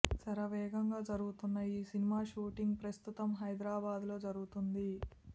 శరవేగంగా జరుగుతున్న ఈ సినిమా షూటింగ్ ప్రస్తుతం హైదరాబాద్ లో జరుగుతోంది